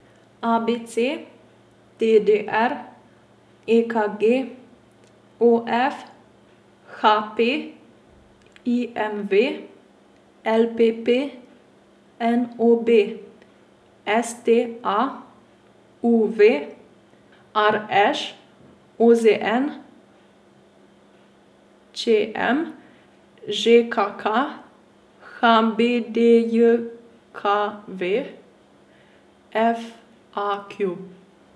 A B C; D D R; E K G; O F; H P; I M V; L P P; N O B; S T A; U V; R Š; O Z N; Č M; Ž K K; H B D J K V; F A Q.